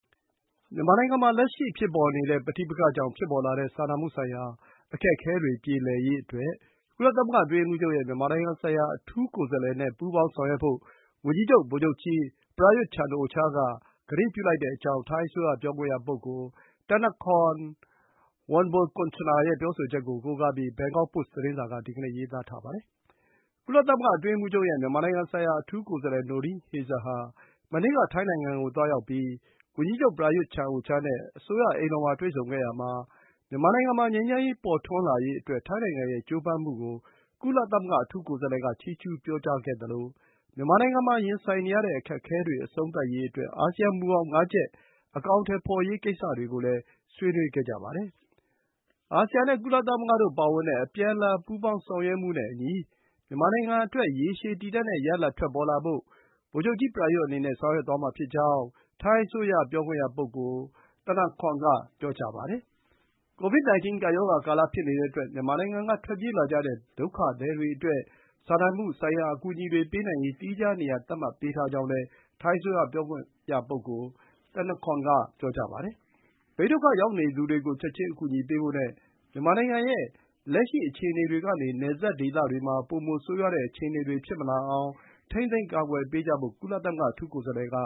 မြန်မာနိုင်ငံမှာ လက်ရှိဖြစ်ပေါ်နေတဲ့ ပဋိပက္ခကြောင့်ဖြစ်ပေါ်လာတဲ့ စာနာမှုဆိုင်ရာ အခက်အခဲတွေ ပြေလည်ရေးအတွက် ကုလသမဂ္ဂ အတွင်းရေးမှူးချုပ်ရဲ့ မြန်မာနိုင်ငံဆိုင်ရာ အထူးကိုယ်စားလှယ်နဲ့ ပူးပေါင်းဆောင်ရွက်ဖို့ ဝန်ကြီးချုပ် ဗိုလ်ချုပ်ကြီး Proyut Chan-o-cha က သံဓိဌာန်ပြုလိုက်ကြောင်း ထိုင်းအစိုးရပြောခွင့်ရ ပြောခွင့်ရ Thanakorn Wangboonkongchana ရဲ့ ပြောဆိုချက်ကို ကိုးကားပြီး Bangkok သတင်းမှာ ဒီကနေ့ ရေးသားထားပါတယ်။ ကုလသမဂ္ဂအတွင်းရေးမှူးချုပ်ရဲ့ မြန်မာနိုင်ငံဆိုင်ရာ အထူးကိုယ်စားလှယ် Noeleen Heyzer ဟာ မနေ့က ထိုင်းနိုင်ငံကို သွားရောက်ပြီး ဝန်ကြီးချုပ် Prayut Chan-o-cha နဲ့ အစိုးရအိမ်တော်မှာ တွေ့ဆုံခဲ့တာမှာ - မြန်မာနိုင်ငံမှာ ငြိမ်းချမ်းရေး ပေါ်ထွန်းလာရေးအတွက် ထိုင်းနိုင်ငံရဲ့ ကြိုးပမ်းမှုကို ကုလ အထူးကိုယ်စားလှယ်က ချီးကျူး ပြောကြားခဲ့သလို မြန်မာနိုင်ငံမှာ ရင်ဆိုင်နေရတဲ့ အခက်အခဲတွေ အဆုံးသတ်ရေးအတွက် အာဆီယံမူဘောင် (၅) ချက်ကို အကောင်အထည်ဖော်ရေးကိစ္စတွေကို ဆွေးနွေးခဲ့ကြပါတယ်။ အာဆီယံနဲ့ ကုလသမဂ္ဂပါ ပါဝင်တဲ့ အပြန်အလှန် ပူးပေါင်းဆောင်ရွက်မှုတွေနဲ့အညီ မြန်မာနိုင်ငံအတွက် ရေရှည်တည်တန့်တဲ့ ရလဒ်ထွက်လာဖို့ ဗိုလ်ချုပ်ကြီး Prayut အနေနဲ့ ဆောင်ရွက်သွားမှာဖြစ်ကြောင်း ထိုင်းအစိုးရ ပြောခွင့်ရ Thanakorn က ပြောပါတယ်။ ကိုဗစ်-19 ကပ်ရောဂါကာလဖြစ်နေတဲ့အတွက် မြန်မာနိုင်ငံက ထွက်ပြေးလာကြတဲ့ ဒုက္ခသည်တွေအတွက် စာနာမှုဆိုင်ရာ အကူအညီတွေ ပေးနိုင်ရေး သီးခြား နေရာသတ်မှတ်ပေးထားကြောင်းလည်း ထိုင်းအစိုးရပြောခွင့်ရဘ Thanakorn က ပြောပါတယ်။ ဘေးဒုက္ခရောက်နေသူတွေကို ချက်ခြင်း အကူအညီပေးဖို့နဲ့ မြန်မာနိုင်ငံရဲ့ လက်ရှိအခြေအနေတွေကနေ နယ်စပ်ဒေသတွေမှာ ပိုမို ဆိုးရွားတဲ့ အခြေအနေတွေ ဖြစ်မလာအောင် ထိန်းသိမ်း ကာကွယ်ပေးကြဖို့ ကုလ အထူးကိုယ်စားလှယ်က